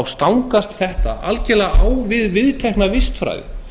stangast þetta algerlega á við viðtekna vistfræði